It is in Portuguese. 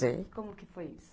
Sei. Como que foi isso?